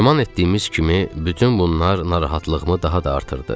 Güman etdiyimiz kimi, bütün bunlar narahatlığımı daha da artırdı.